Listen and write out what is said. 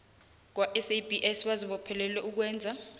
kwasabs bazibophelele ukwenza